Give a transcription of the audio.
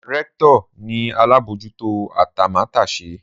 Rector ni alabojuto atamatese.